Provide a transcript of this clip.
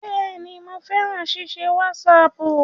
Bẹ́ẹ̀ni, mo fẹ́ràn ṣíṣe wásaàpù